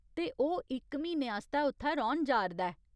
ते ओह् इक म्हीने आस्तै उत्थै रौह्‌न जा'रदा ऐ।